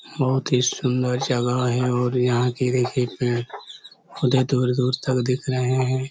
बहुत ही सुन्दर जगह है और यहाँ की देखिये पेड़ उधर दुर-दुर तक दिख रहे है।